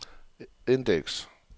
indeks